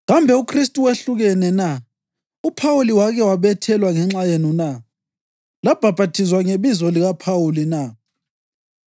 Kambe uKhristu wehlukene na? UPhawuli wake wabethelwa ngenxa yenu na? Labhaphathizwa ngebizo likaPhawuli na?